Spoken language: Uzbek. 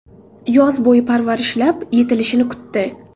Yoz bo‘yi parvarishlab, yetilishini kutdi.